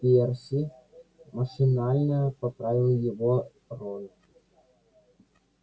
перси машинально поправил его рон